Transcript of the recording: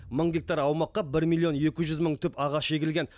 мың гектар аумаққа бір миллион екі жүз мың түп ағаш егілген